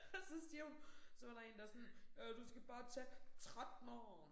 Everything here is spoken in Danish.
Og så stirrer hun så var der én der sådan øh du skal bare tage 13'eren